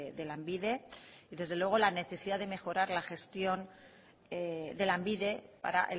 de lanbide y desde luego la necesidad de mejorar la gestión de lanbide para